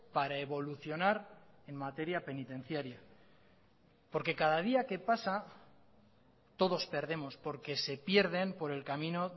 para evolucionar en materia penitenciaria porque cada día que pasa todos perdemos porque se pierden por el camino